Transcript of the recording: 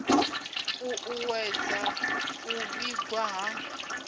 ṱu ṱuwedza u vhigwa ha